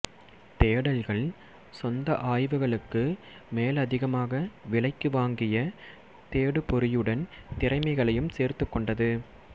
தேடல்கள் சொந்த ஆய்வுகளுக்கு மேலதிகமாக விலைக்கு வாங்கிய தேடுபொறியுடன் திறமைகளையும் சேர்த்துக்கொண்டது